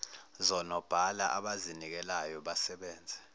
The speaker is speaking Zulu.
zonobhala abazinikelayo basebenze